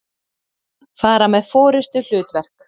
fara með forystuhlutverk.